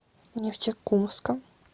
нефтекумском